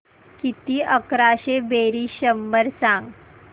किती अकराशे बेरीज शंभर सांग